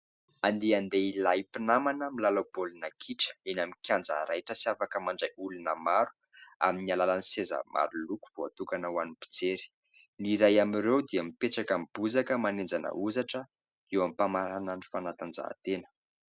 Andian-dehilahy mpinamana milalao baolina kitra eny amin'ny kianja raitra sy afaka mandray olona maro, amin'ny alalan'ny seza maro loko voatokana ho an'ny mpiery. Ny iray amin'ireo dia mipetraka amin'ny bozaka manenjana ozatra eo am-pamaranana ny fanatanjahan-tena.